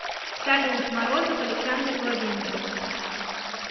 салют морозов александр владимирович